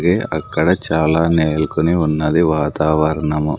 ఇది అక్కడ చాలా నేలుకొని ఉన్నది వాతావరణము.